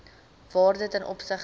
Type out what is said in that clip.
waarde ten opsigte